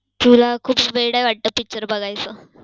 तुला खूप वेडं आहे वाटतं picture बघायची?